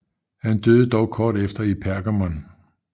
Han døde dog kort efter i Pergamum